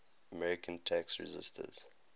american tax resisters